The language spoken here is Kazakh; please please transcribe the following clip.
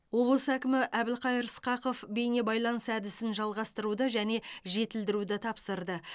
облыс әкімі әбілқайыр сқақов бейнебайланыс әдісін жалғастыруды және жетілдіруді тапсырды